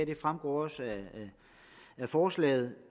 det fremgår også af forslaget